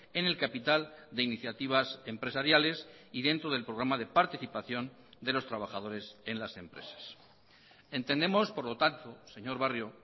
en el capital de iniciativas empresariales y dentro del programa de participación de los trabajadores en las empresas entendemos por lo tanto señor barrio